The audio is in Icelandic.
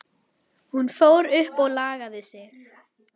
Hún fór upp og lagði sig.